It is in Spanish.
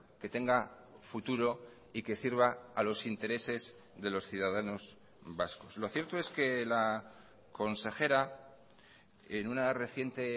que tenga futuro y que sirva a los intereses de los ciudadanos vascos lo cierto es que la consejera en una reciente